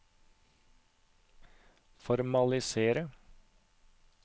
formalisere